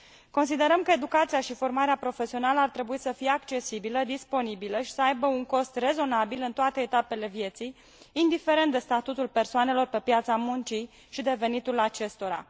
Considerăm că educația și formarea profesională ar trebui să fie accesibile, disponibile și să aibă un cost rezonabil în toate etapele vieții, indiferent de statutul persoanelor pe piața muncii și de venitul acestora.